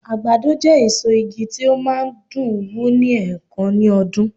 àgbàdo je èso ìgi ti o ma n dùn wù ni enkan ní ọdún